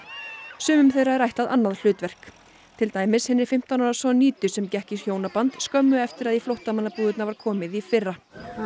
sumum þeirra er ætlað annað hlutverk til dæmis hinni fimmtán ára Sonjidu sem gekk í hjónaband skömmu eftir að í flóttamannabúðirnar var komið í fyrra